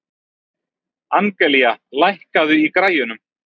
Angelía, lækkaðu í græjunum.